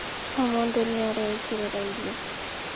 O mũndũ nĩ areĩkĩrĩra irio